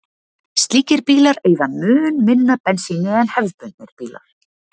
Slíkir bílar eyða mun minna bensíni en hefðbundnir bílar.